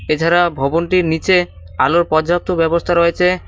এছাড়া ভবনটির নীচে আলোর পর্যাপ্ত ব্যবস্থা রয়েছে।